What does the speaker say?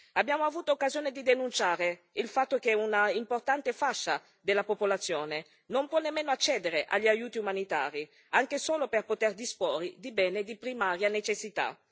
Abbiamo avuto occasione di denunciare il fatto che un'importante fascia della popolazione non può nemmeno accedere agli aiuti umanitari, anche solo per poter disporre di beni di primaria necessità.